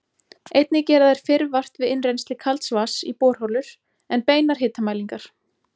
Einnig gera þeir fyrr vart við innrennsli kalds vatns í borholur en beinar hitamælingar.